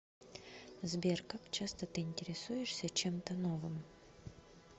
сбер как часто ты интересуешься чем то новым